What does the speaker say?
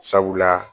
Sabula